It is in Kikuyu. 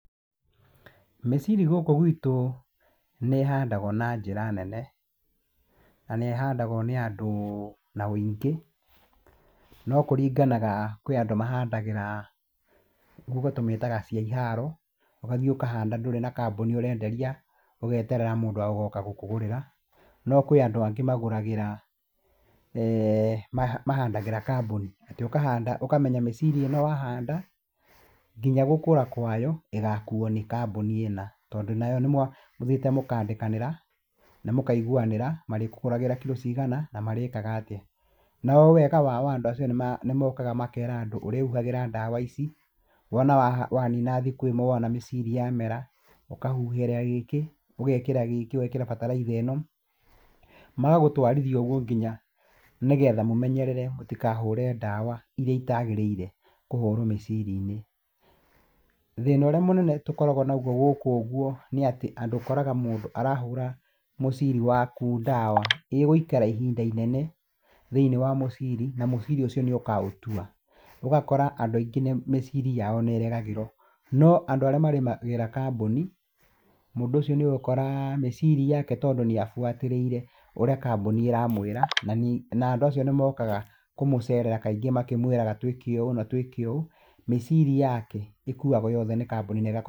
Mĩciri gũkũ gwitũ nĩĩhandagwo na njĩra nene. Na nĩ ĩhandagwo nĩ andũ na ũingĩ, no kũringanaga, kwĩ andũ mahandagĩra gũkũ tũmĩtaga cia iharo, ũgathiĩ ũkahanda ndũrĩ na kambũni ũrenderia, ũgeterera mũndũ agoka gũkũgũrĩra. No kwĩ andũ angĩ magũragĩra, mahandagĩra kambũni. Atĩ ũkahanda ũkamenya mĩciri ĩno wahanda, nginya gũkũra kwayo ĩgakuo nĩ kambũni ĩna. Tondũ nayo nĩ mũthiĩte mũkandĩkanĩra na mũkaiguanĩra marĩkũgũragĩra kilo cigana, na marĩkaga atĩa. No wega wao andũ acio nĩ mokaga makera andũ ũrĩhuhagĩra dawa ici, wona wanina thikũ ĩmwe wona mĩciri yamera ukahuhĩra gĩkĩ, ũgekĩra gĩkĩ, ũgekĩra bataraitha ĩno. Magagũtwarithia ũguo nginya nĩgetha mũmenyerere mũtikahũre dawa irĩa itagĩrĩire kũhũrwo mĩciri-inĩ. Thĩna ũríĩ mũnene tũkoragwo naguo gũkũ ũguo nĩatĩ andũ ũkoraga mũndũ arahũra mũciri waku dawa ĩgũikara ihinda inene thĩinĩ wa mũciri na mũciri ũcio nĩ ũkaũtua. Ũgakora andũ aingĩ nĩ mĩciri yao nĩ ĩregagĩrwo. No andũ arĩa marĩmagĩra kambũni, mũndũ ũcio nĩ ũgũkora mĩciri yake tondũ nĩ abuatĩrĩire ũrĩa kambũni ĩramwĩra na andũ acio nĩ mokaga kũmũcerera kaingĩ makĩmwĩraga twĩke ũũ na twĩke ũũ, mĩciri yake ĩkuagwo yothe ni kambũni na ĩgakorwo.